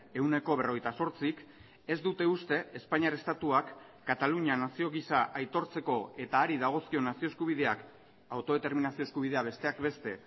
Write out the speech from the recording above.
ehuneko berrogeita zortzik ez dute uste espainiar estatuak katalunia nazio gisa aitortzeko eta hari dagozkion nazio eskubideak autodeterminazio eskubidea besteak beste